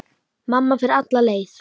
Mamma fer alla leið.